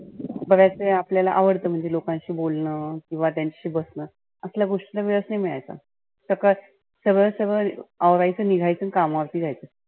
परत आपल्याला आवडतं म्हणजे लोकांशी बोलनं किंवा त्यांच्याशी बसनं. असल्या गोष्टींना वेळच नाही मिळायचा. सरळ सरळ औरायच निघायच, आणि कामावरती जायचं.